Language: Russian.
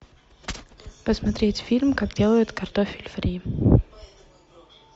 посмотреть фильм как делают картофель фри